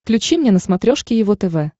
включи мне на смотрешке его тв